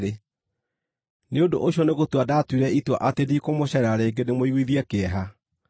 Nĩ ũndũ ũcio nĩgũtua ndaatuire itua atĩ ndikũmũceerera rĩngĩ ndĩmũiguithie kĩeha.